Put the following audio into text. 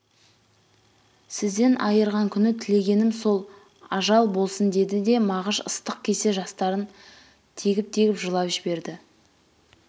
сіздең айырған күн тілеғенім сод ажал болсын деді де мағыш ыстық кесек жастарын тегіп-тегіп жылап жіберді